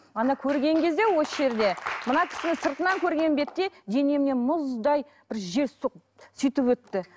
мана көрген кезде осы жерде мына кісіні сыртынан көрген бетте денемнен мұздай бір жел соғып сөйтіп өтті